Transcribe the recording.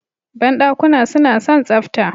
Banɗakuna suna son tsafta